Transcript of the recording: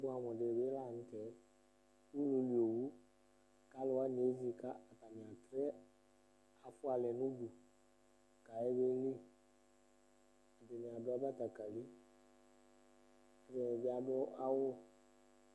Ɛfʋ bʋɛamʋ dɩ bɩ la nʋ tɛ Ulu li owu kʋ alʋ wanɩ ezi kʋ atanɩ atrɛ afʋa alɛ nʋ udu kʋ ayabeli Ɛdɩnɩ adʋ abatakalɩ Ɔlɔdɩ bɩ adʋ awʋ